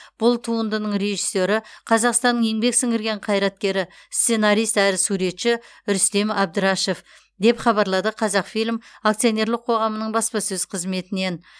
бұл туындың режиссері қазақстанның еңбек сіңірген қайраткері сценарист әрі суретші рүстем әбдірашев деп хабарлады қазақфильм акционерлік қоғамының баспасөз қызметінен